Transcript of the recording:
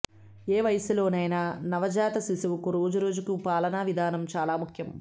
ఏ వయసులోనైనా నవజాత శిశువుకు రోజుకు పాలనా విధానం చాలా ముఖ్యం